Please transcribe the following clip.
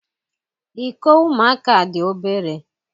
Iko ụmụaka dị obere.